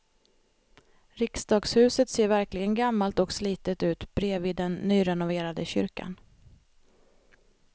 Riksdagshuset ser verkligen gammalt och slitet ut bredvid den nyrenoverade kyrkan.